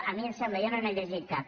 a mi em sembla jo no n’he llegit cap